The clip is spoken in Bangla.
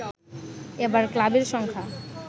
এবার ক্লাবের সংখ্যা